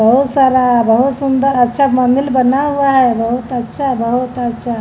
बहुत सारा बहुत सुंदर अच्छा मंदिल बना हुआ है बहुत अच्छा बहुत अच्छा।